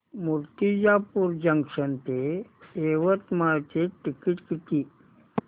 Murtijapur junction ते यवतमाळ चे ticket किती